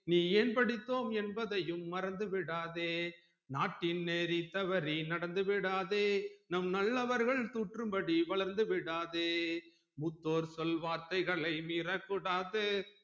நீ ஏன் படித்தோம் என்பதையும் மறந்துவிடாதே நாட்டின் நெறித்தவரே நடந்து விடாதே நம் நல்லவர்கள் கூற்றும் படி வளர்ந்து விடாதே மூத்தோர் சொல் வார்த்தைகளை மீறக்கூடாது